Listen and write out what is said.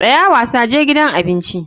Tsaya wasa, je gidan abinci.